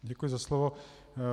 Děkuji za slovo.